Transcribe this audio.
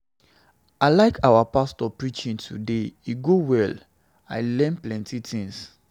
I like our pastor preaching today e go well, I learn plenty things.